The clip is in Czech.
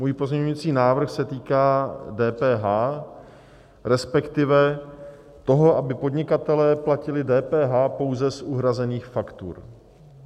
Můj pozměňovací návrh se týká DPH, respektive toho, aby podnikatelé platili DPH pouze u uhrazených faktur.